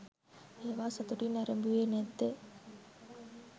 ඒවා සතුටින් නැරඹුවේ නැද්ද?